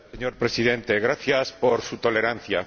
Señor Presidente, gracias por su tolerancia.